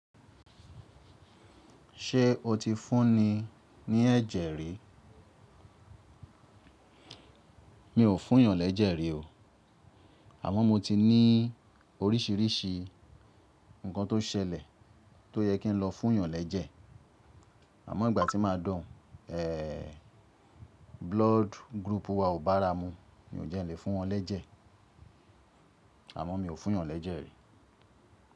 Ṣé o ti fún ni ní ẹ̀jẹ̀ rí? Mi ò fún yàn lẹ́jẹ̀ rí o. Àmọ́ mo ti ní oríṣiríṣi nǹkan tó ṣẹlẹ̀ tó yẹ kí n lọ fún yàn lẹ́jẹ̀. Àmọ́ ìgbà tí máa dọ̀ n, blood group wa ò bá ara mu. Ni ò jẹ́ n lè fún wọn lẹ́jẹ̀. Àmọ́ mi ò fún yàn lẹ́jẹ̀ rí.